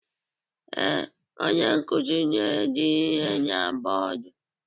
Ee, onye nkuzi na-ede ihe na bọdu.